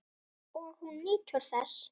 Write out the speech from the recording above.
Og hún nýtur þess.